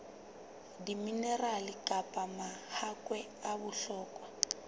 diminerale kapa mahakwe a bohlokwa